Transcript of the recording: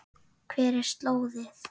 Hver er slóðin?